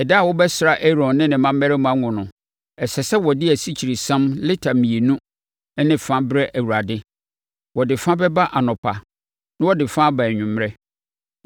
“Ɛda a wɔbɛsra Aaron ne ne mmammarima ngo no, ɛsɛ sɛ wɔde asikyiresiam lita mmienu ne fa brɛ Awurade. Wɔde fa bɛba anɔpa na wɔde fa aba anwummerɛ.